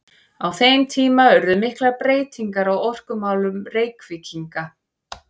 Á þeim tíma urðu miklar breytingar á orkumálum Reykvíkinga.